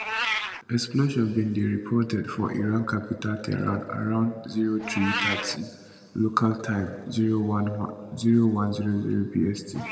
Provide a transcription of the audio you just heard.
explosions bin dey reported for iran capital tehran around 0330 local time 0100 bst